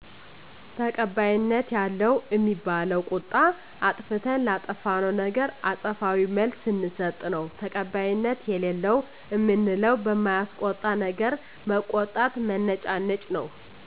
ተቀባይነት ያለው እሚባለው ቁጣ አጥፋተተን ላጠፋነው ነገር አጸፋዊ መልስ ስንስጥ ነው ተቀባይነት የለለው እምንለው በማያስቆጣነገር መቆጣት መነጫነጭ ነው